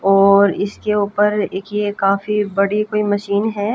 और इसके ऊपर एक ये काफी बड़ी कोई मशीन है।